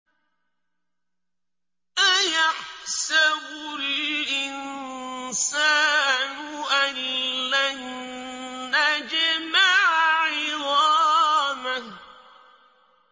أَيَحْسَبُ الْإِنسَانُ أَلَّن نَّجْمَعَ عِظَامَهُ